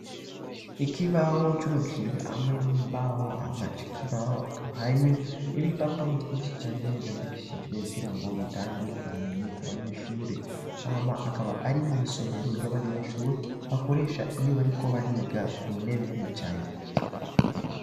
Ikibawo cubagishijwe hamwe n'imbaho amaje ikibawo akaba hariyo n'ib i papuro vyinshi cane vyandikishijwe kugira ngo bitangiye ubumenyi ku banyeshure ama akaba ari mw'isomero ry'abanyeshure bakoresha iyo bariko bariga mu nebe bicane.